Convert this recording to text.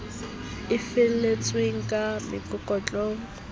e fihletsweng ka mekolokotwane eo